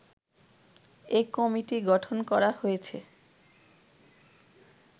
এ committee গঠন করা হয়েছে